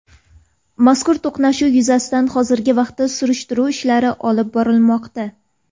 Mazkur to‘qnashuv yuzasidan hozirgi vaqtda surishtiruv ishlari olib borilmoqda.